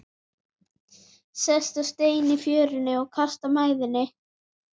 Sest á stein í fjörunni og kastar mæðinni.